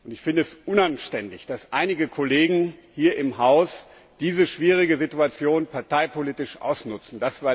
Ich finde es unanständig, dass einige Kollegen hier im Haus diese schwierige Situation parteipolitisch ausnutzen.